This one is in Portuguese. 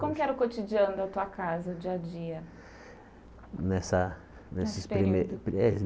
Como era o cotidiano da tua casa, o dia a dia? Nessa Nesse período nesse primeiro